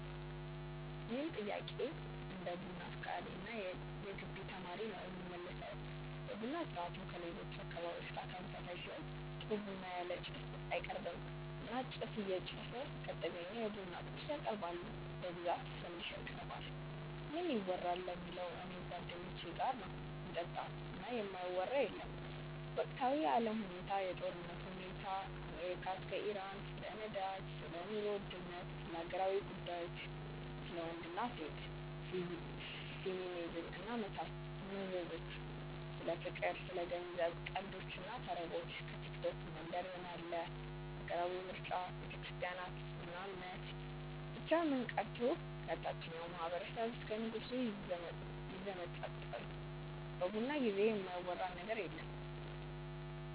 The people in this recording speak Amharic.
ይህን ጥያቄ እንደ ቡና አፍቃሪ እና የገቢ ተማሪ ነው የምመልሰው። የቡና ስርአቱ ከሌሎች አካባቢዎች ጋር ተመሳሳይ ሲሆን ጥሩ ቡና ያለ ጭስ አይቀርብም እና ጭስ እየጨሰ ከተገኘ የቡና ቁርስ ያቀርባሉ በብዛት ፈንዲሻ ይቀርባል። ምን ይወራል ለሚለው እኔ ከጓደኞቼ ጋር ነው ምጠጣው እና የማይወራ የለም ወቅታዊ የአለም ሁኔታ፣ የጦርነቱ ሁኔታ ከአሜሪካ እስከ ኢራን፣ ስለ ነዳጅ፣ ስለ ኑሮ ውድነት፣ ስለ ሀገራዊ ጉዳዮች፣ ስለ ወንድ እና ሴት፣ ፌሚኒዝም እና መዘዞቹ፣ ስለ ፍቅር፣ ስለ ገንዘብ፣ ቀልዶች እና ተረቦች፣ ከቲክቶክ መንደር ምን አለ፣ ሀገራዊ ምርጫ፣ ቤተክርስትያን እና እምነት፣ ብቻ ምን ቀርቶ ከታቸኛው ማህበረሰብ እስከ ንጉሱ ይዘመጠጣሉ በቡና ጊዜ የማይወራ ነገር የለም።